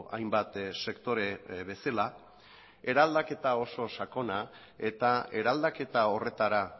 hainbat sektore bezala eraldaketa oso sakona eta eraldaketa horretara